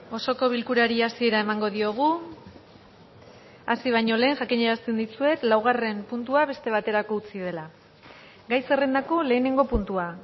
osoko bilkurari hasiera emango diogu hasi baino lehen jakinarazten dizuet laugarren puntua beste baterako utzi dela gai zerrendako lehenengo puntua